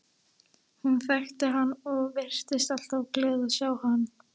Hún þekkti hann og virtist alltaf glöð að sjá hann.